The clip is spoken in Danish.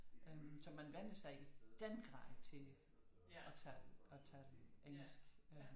Så man vænner sig i den grad til at tale engelsk